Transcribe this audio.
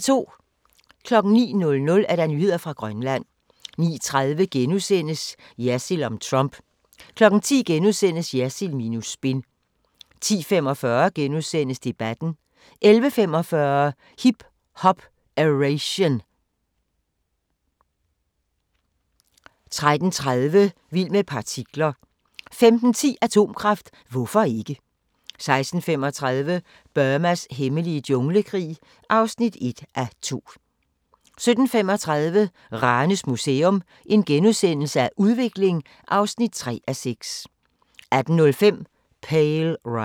09:00: Nyheder fra Grønland 09:30: Jersild om Trump * 10:00: Jersild minus spin * 10:45: Debatten * 11:45: Hip Hop-Eration 13:30: Vild med partikler 15:10: Atomkraft – hvorfor ikke? 16:35: Burmas hemmelige junglekrig (1:2) 17:35: Ranes Museum – Udvikling (3:6)* 18:05: Pale Rider